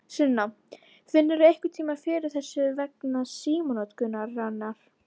Sunna: Finnurðu einhverntímann fyrir pressu vegna símanotkunarinnar?